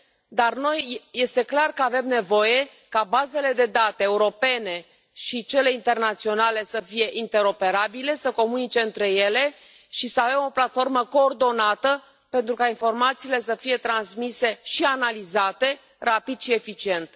Dar noi este clar că avem nevoie ca bazele de date europene și cele internaționale să fie interoperabile, să comunice între ele și să avem o platformă coordonată, pentru ca informațiile să fie transmise și analizate rapid și eficient.